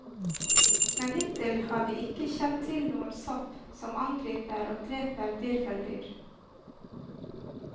Men hittil har vi ikke kjent til noen sopp som angriper og dreper hvirveldyr.